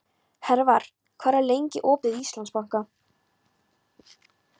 Hervar, hvað er lengi opið í Íslandsbanka?